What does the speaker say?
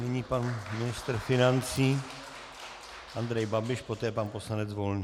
Nyní pan ministr financí Andrej Babiš, poté pan poslanec Volný.